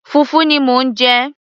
fùfú ni mò ń jẹ